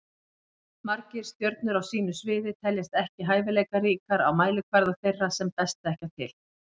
Margir stjörnur á sínu sviði teljast ekki hæfileikaríkar á mælikvarða þeirra sem best þekkja til.